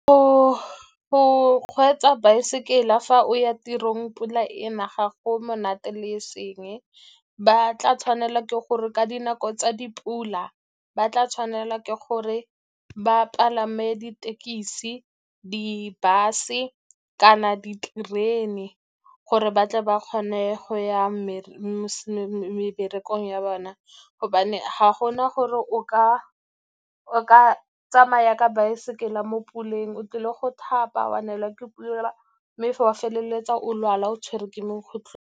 Go kgweetsa baesekele fa o ya tirong pula ena, ga go monate le eseng. Ba tla tshwanela ke gore ka dinako tsa dipula ba tla tshwanela ke gore ba palame dithekesi, di-bus-e, kana diterene gore ba tle ba kgone go ya meberekong ya bona, gobane ga gona gore o ka tsamaya ka baesekele mo puleng. O tlile go thapa, wa neelwa ke pula, mme fa wa feleletsa o lwala, o tshwerwe ke .